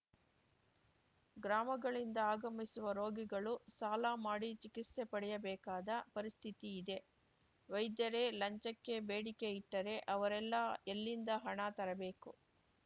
ಗ್ರಾಮಗಳಿಂದ ಆಗಮಿಸುವ ರೋಗಿಗಳು ಸಾಲ ಮಾಡಿ ಚಿಕಿತ್ಸೆ ಪಡೆಯಬೇಕಾದ ಪರಿಸ್ಥಿತಿ ಇದೆ ವೈದ್ಯರೇ ಲಂಚಕ್ಕೆ ಬೇಡಿಕೆ ಇಟ್ಟರೆ ಅವರೆಲ್ಲ ಎಲ್ಲಿಂದ ಹಣ ತರಬೇಕು